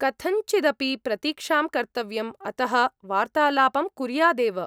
कथञ्चिदपि प्रतीक्षां कर्तव्यम्, अतः वार्तालापं कुर्यादेव।